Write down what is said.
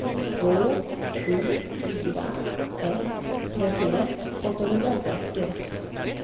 två sju fyra ett trettioett åttahundrafyrtio